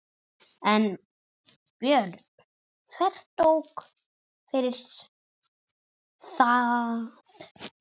en Björn þvertók fyrir það.